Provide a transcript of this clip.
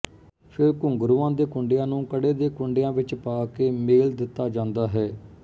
ਫੇਰ ਘੁੰਗਰੂਆਂ ਦੇ ਕੁੰਡਿਆਂ ਨੂੰ ਕੜੇ ਦੇ ਕੁੰਡਿਆਂ ਵਿੱਚ ਪਾ ਕੇ ਮੇਲ ਦਿੱਤਾ ਜਾਂਦਾ ਹੈ